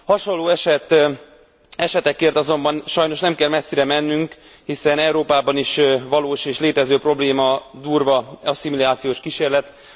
Hasonló esetekért azonban sajnos nem kell messzire mennünk, hiszen Európában is valós és létező probléma, durva asszimilációs kísérlet.